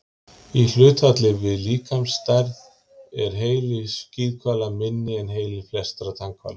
Í hlutfalli við líkamsstærð er heili skíðishvala minni en heili flestra tannhvala.